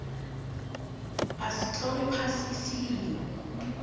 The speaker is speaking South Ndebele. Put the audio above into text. asitlole phasi isililo